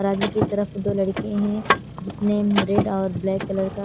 और आगे की तरफ दो लड़के हैं जिसने अह रेड और ब्लैक कलर का--